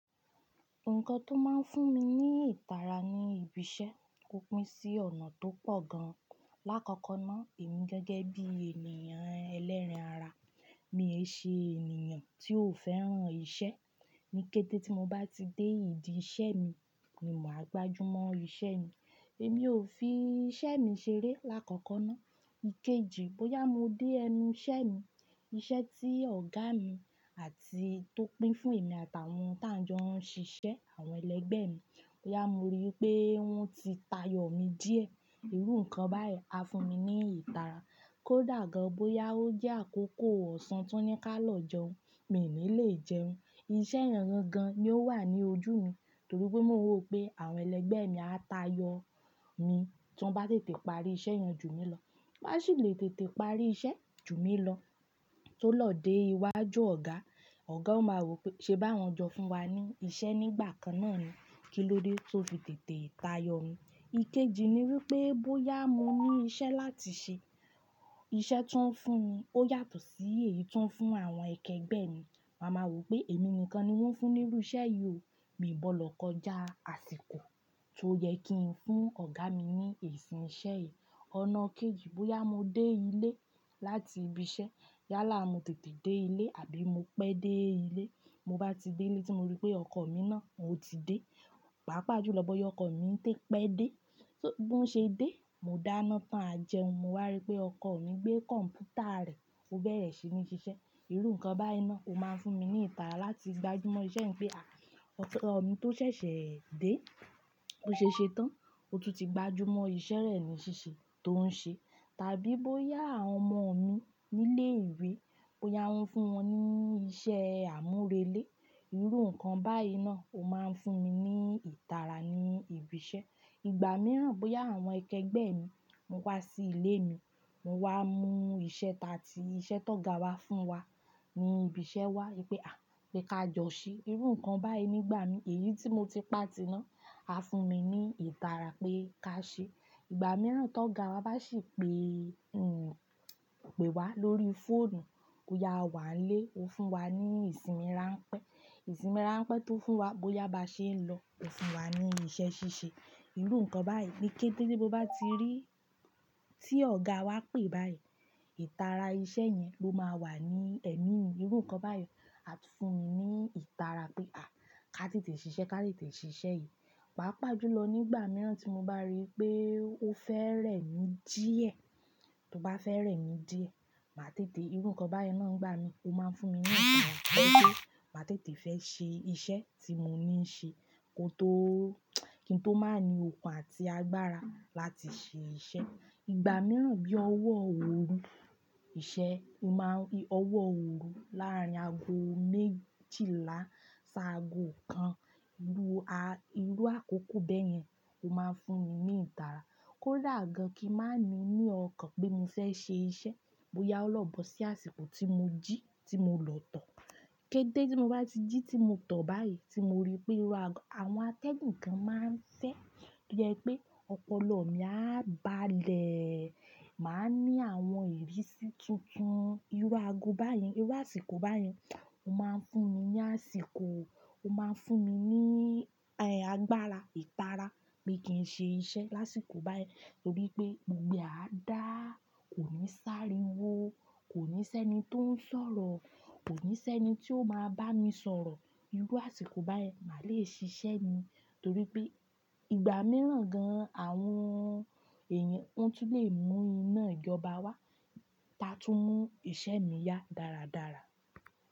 Nǹkan tó máa ń fún mi ní ìtara ní ibi iṣẹ́, kó pín sí ọ̀nà tó pọ̀ gan-an. Láàkọ́kọ́ náà, èmi gẹ́gẹ́ bí ènìyàn ẹlẹ́ran-ara, mi ò ṣe ènìyàn tí ó fẹ́ràn ìṣe. Ni kẹ́té tí mo bá ti dé ìdí ìṣe mi, ni mo máa gbajúmọ̀ iṣẹ́ mi. Èmi ò fi iṣẹ́ mi ṣeré láàkọ́kọ́ náà. Ikeji, bóyá mo dé ẹnu iṣẹ́ mi, iṣẹ́ tí ọ̀gá mi àti tó pín fún èmi àtàwọn tí à ń jọ ń ṣiṣẹ́, àwọn ẹlẹ́gbẹ́ mi, bóyá mo rí pé wọ́n ti tayọ̀ mi díẹ̀, irú nǹkan báyìí á fún mi ní ìtara. Kó dà gan-an bóyá ó jẹ́ àkókò ọ̀sán tí wọ́n ní kí a lọ jẹun, mi ò ní lè jẹun. Iṣẹ́ yan gan-an ni ó wà ní ojú mi torí pé mo rò pé àwọn ẹlẹ́gbẹ́ mi á tayọ̀ mi tí wọ́n bá tètè parí iṣẹ́ yan ju mi lọ. Wọn sì le tètè parí iṣẹ́ ju mi lọ tó lọ dé iwájú ọ̀gá, ọ̀gá ó máa rò pé ṣe bá wọn jọ fún wa ní iṣẹ́ nígbà kan náà ni. Kí ló dé tó fi tètè tayọ̀ mi? Ikeji ni wípé bóyá mo ní iṣẹ́ láti ṣe, iṣẹ́ tí wọ́n fún mi ó yàtọ̀ sí èyí tí wọ́n fún àwọn akẹgbẹ́ mi. Ma máa woò pé èmi nìkan ni wọ́n fún ní irú iṣẹ́ yìí o. Mi ò gbọ́dọ̀ kọjá àsìkò tó yẹ kí ń fún ọ̀gá mi ní èsì iṣẹ́ yìí. Ọ̀nà kejì, bóyá mo dé ilé láti ibi iṣẹ́, yálà mo tètè dé ilé àbí mo pẹ́ dé ilé. Mo bá ti dé ilé tí mo rí pé ọkọ mi náà ò tí dé, pàápàá jùlọ bóyá ọkọ mi ń tẹ́ pé dé, bó ṣe dé, mo dáná tán a jẹun, mo wá rí pé ọkọ mi gbé kọ̀m̀pútà rẹ̀ fún bẹ́rẹ̀ sí ní ṣiṣẹ́. Irú nǹkan báyìí náà ó máa ń fún mi ní ìtara láti gbajúmọ̀ iṣẹ́ mi pé à, ọkọ mi tó ṣẹ̀ṣẹ̀ dé, tó ṣe ṣetán, ó tún ti gbajúmọ̀ iṣẹ́ rẹ̀ ní ṣíṣe tó ń ṣe. Tàbí bóyá àwọn ọmọ mi nílé ìwé, bóyá wọ́n fún wọn ní iṣẹ́ àmúrelé, irú nǹkan báyìí náà ó máa ń fún mi ní ìtara ní ibi iṣẹ́. Ìgbà mìíràn bóyá àwọn akẹgbẹ́ mi, wọn wá sí ilé mi, wọn wá mú iṣẹ́ ta tí iṣẹ́ tó ọ̀gá wa fún wa ní ibi iṣẹ́ wá wípé à, pé ka jọ ṣe, irú nǹkan báyìí nígbà mi, èyí tí mo ti pà tí náa á fún mi ní ìtara pé ká ṣé. Ìgbà mìíràn tó ọ̀gá wa bá sì pé, pè wá lórí fóònù, bóyá a wà nílé ó fún wa ní ìsinmi ráńpẹ́. Ìsinmi ráńpẹ́ tó fún wa, bóyá bá ṣe ń lọ ó fún wa ní iṣẹ́ ṣíṣe. Irú nǹkan báyìí, nikẹ́tẹ́ ní mo bá ti rí tí ọ̀gá wa pè báyìí, ìtara iṣẹ́ yẹn ló máa wà ní ẹ̀mí mi. Irú nǹkan báyìí a tún fún mi ní ìtara pé à, ká tètè ṣiṣẹ́, ká tètè ṣiṣẹ́ yìí. Pàápàá jùlọ nígbà mìíràn tí mo bá rí pé ó fẹ́rẹ̀ mí díẹ̀, tó bá fẹ́rẹ̀ mí díẹ̀, màá tètè, irú nǹkan báyìí náà ń gbá mi, ó máa ń fún mi ní ìtara pé mo máa tètè fẹ́ ṣe iṣẹ́ tí mo ní ṣe kí n tó, kí n tó máa ní ọkun àti agbára láti ṣe iṣẹ́. Ìgbà mìíràn bí ọwọ́ oru ìṣe, mo máa rí ọwọ́ oru láàrin ago méjìlá sáago kan, irú, a, irú àkókò bẹ́ẹ̀ yẹn ó máa ń fún mi ní ìtara. Kó dà gan-an kí màá ní ní ọkàn pé mo fẹ́ ṣe iṣẹ́, bóyá ó lọ̀bọ sí àsìkò tí mo jí tí mo lọ̀tọ̀. Kẹ́tẹ́ tí mo bá ti jí tí mo tọ̀ báyìí tí mo rí pé irú àgọ, àwọn àtẹ́gun kan máa ń fẹ́ yẹ pé ọpọlọ mi á ba lè máa ní àwọn ìrísí tuntun. Irú àgọ báyìí, irú àsìkò báyìí ó máa ń fún mi ní àsìkò, ó máa ń fún mi ní, ẹ, agbára, ìtara pé kí ń ṣe iṣẹ́ lásìkò báyìí torí pé gbogbo àá dáa, kò ní s'árinwó, kò ní sẹ́ni tó ń sọ̀rọ̀, kò ní sẹ́ni tí ó máa bá mi sọ̀rọ̀. Irú àsìkò báyen màá le ṣiṣẹ́ mi torí pé ìgbà mìíràn gan-an àwọn èèyàn wọ́n tún lè mú iná ìjọba wá bá tún mú ìṣe mi ya dáradára.